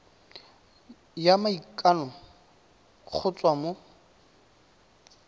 ya maikano go tswa mo